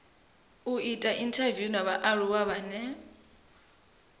ita inthaviwu na vhaaluwa vhane